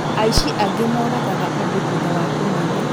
Aici angĩ moragaga andũ thutha wa kũmaiya